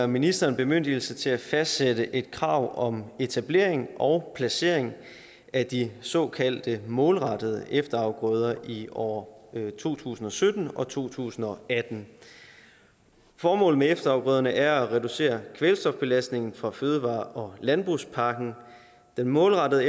ministeren bemyndigelse til at fastsætte et krav om etablering og placering af de såkaldte målrettede efterafgrøder i år to tusind og sytten og to tusind og atten formålet med efterafgrøderne er at reducere kvælstofbelastningen fra fødevare og landbrugspakken den målrettede